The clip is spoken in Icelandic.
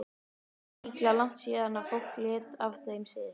Það er líklega langt síðan fólk lét af þeim sið.